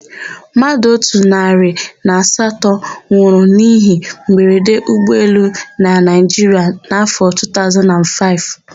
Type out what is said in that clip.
Mmadụ otu narị na asatọ nwụrụ n'íhé mberede ụgbọelu na Naịjiria n'áfọ̀ 2005.